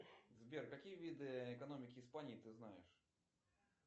сбер какие виды экономики испании ты знаешь